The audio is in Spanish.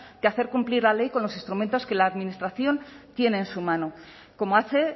que hacer cumplir la ley con los instrumentos que la administración tiene en su mano como hace